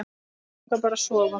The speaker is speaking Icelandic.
Mig langar bara að sofa.